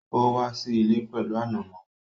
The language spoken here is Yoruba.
Ó wá sí ilé pẹ̀lú ànàmọ́